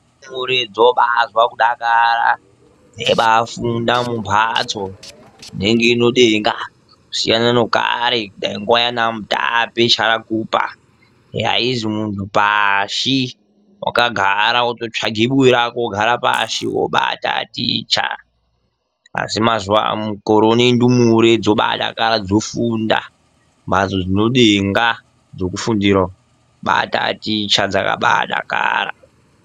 Ndumure dzobazwe kudakara dzeibaafunda mumhatso inonga inedenga kusiyana nekare dani nguwa yaana mutape charakupa yaizwi munhu pashi wakagara wototsvage buwe rako wogara pashi wobaataticha asi mukore uno ndumure dzobaadakara dzofunda mumhatso dzinedenga dzokufundira kubaataticha dzakabaadakara.